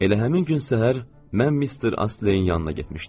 Elə həmin gün səhər mən Mister Asleyin yanına getmişdim.